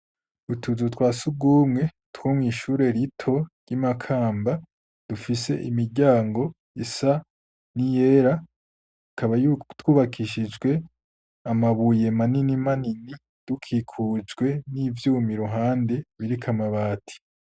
Utuzu twasugumwe two mw'ishure rito ry'i Makamba dufise imiryango isa niyera. Tukaba twubakishijwe amabuye manini manini, dukikujwe n'ivyumi ruhande biriko amabati.